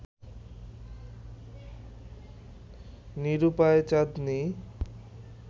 নিরূপায় চাঁদনী